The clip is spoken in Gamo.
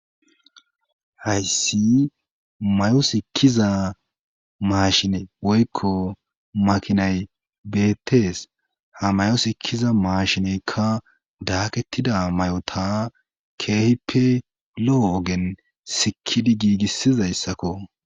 hayssi mayosikkiza maashine woykko makinay beettees ha mayo sikkiza maashineykka daakettida may7ota keehippe lo7o ogen sikidi giigissizayssakko